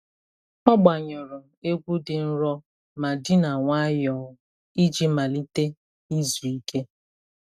Ọ gbanyụrụ egwu dị nro ma dina nwayọọ iji malite izu ike.